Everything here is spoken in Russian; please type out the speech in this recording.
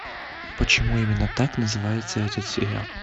почему именно так называется этот сериал